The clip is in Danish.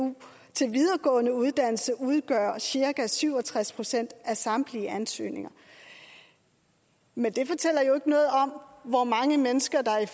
til videregående uddannelse udgør cirka syv og tres procent af samtlige ansøgninger men det fortæller jo ikke noget om hvor mange mennesker der i